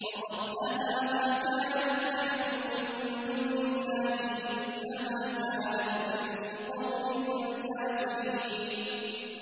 وَصَدَّهَا مَا كَانَت تَّعْبُدُ مِن دُونِ اللَّهِ ۖ إِنَّهَا كَانَتْ مِن قَوْمٍ كَافِرِينَ